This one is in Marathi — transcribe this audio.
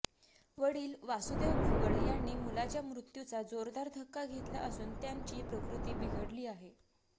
वडील वासुदेव भुवड यांनी मुलाच्या मृत्यूचा जोरदार धक्का घेतला असून त्यांची प्रकृती बिघडली आहे